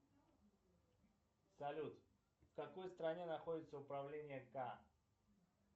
салют в какой стране находится управление к